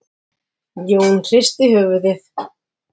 Jón hristi höfuðið.